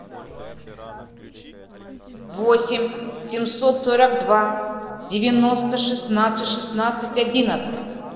восемь семьсот сорок два девяносто шестнадцать шестнадцать одиннадцать